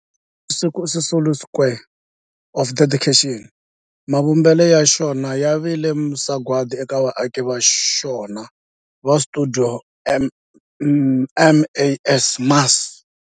Walter Sisulu Square of Dedication, mavumbelo ya xona ya vile sagwadi eka vaaki va xona va stuidio MAS.